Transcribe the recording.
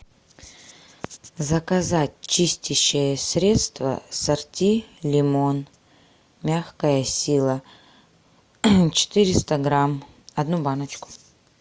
заказать чистящее средство сорти лимон мягкая сила четыреста грамм одну баночку